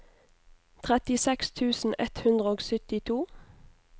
trettiseks tusen ett hundre og syttito